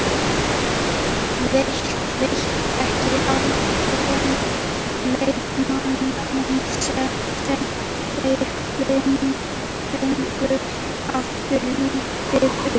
Veit ekki með erlenda leikmanninn sem þeir fengu, hefur lítið spilað.